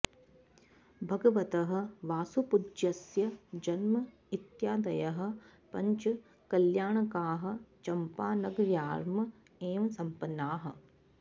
भगवतः वासुपूज्यस्य जन्म इत्यादयः पञ्च कल्याणकाः चम्पानगर्याम् एव सम्पन्नाः